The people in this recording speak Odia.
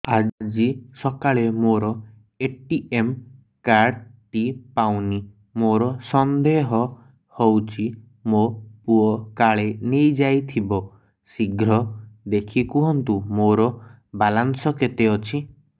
ଆଜି ସକାଳେ ମୋର ଏ.ଟି.ଏମ୍ କାର୍ଡ ଟି ପାଉନି ମୋର ସନ୍ଦେହ ହଉଚି ମୋ ପୁଅ କାଳେ ନେଇଯାଇଥିବ ଶୀଘ୍ର ଦେଖି କୁହନ୍ତୁ ମୋର ବାଲାନ୍ସ କେତେ ଅଛି